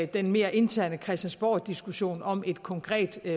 den mere interne christiansborgdiskussion om et konkret